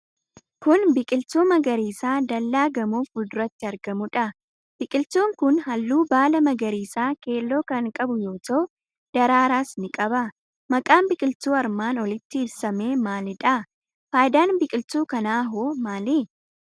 Kun, biqiltuu magariisa dallaa gamoo fuulduratti argamuu dha. Biqiltuun kun, haalluu baalaa magariisa keelloo kan qabu yoo ta'u ,daraaraas ni qaba. Maqaan biqiltuu armaan olitti ibsamee maalidha? Faayidaan biqiltuu kanaa hoo maali?